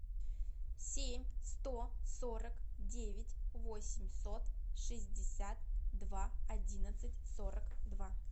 семь сто сорок девять восемьсот шестьдесят два одиннадцать сорок два